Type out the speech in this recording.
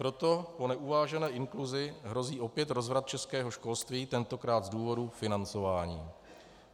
Proto po neuvážené inkluzi hrozí opět rozvrat českého školství, tentokrát z důvodu financování.